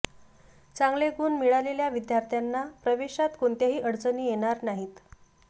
चांगले गुण मिळालेल्या विद्यार्थ्यांना प्रवेशात कोणत्याही अडचणी येणार नाहीत